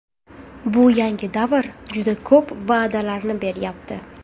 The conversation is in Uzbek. Bu yangi davr juda ko‘p va’dalarni beryapti.